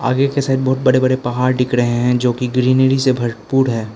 Bridge के side बहुत बड़े बड़े पहाड़ दिख रहे हैं जो कि ग्रीनरी से भरपूर हैं।